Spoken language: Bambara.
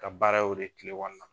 Ka baara ye o de ye kile kɔnɔna na.